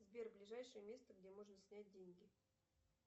сбер ближайшее место где можно снять деньги